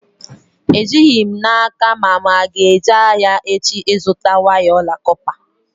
Ejighị m n'aka ma mụ aga-eje ahịa echi ịzụta waya ọla kọpa